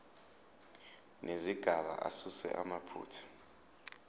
nezigaba asuse amaphutha